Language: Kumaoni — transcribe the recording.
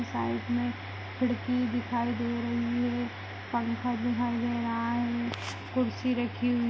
साइड में खिड़की दिखाई दे रही है पंखा दिखाई दे रहा है कुर्सी रखी हुई--